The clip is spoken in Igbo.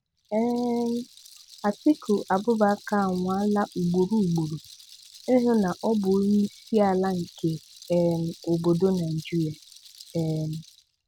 um Atiku Abụbakar anwaala ugboro ugboro ịhụ na ọ bụ onye isi àlà nke um obodo Nigeria. um